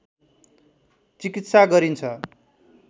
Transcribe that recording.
चिकित्सा गरिन्छ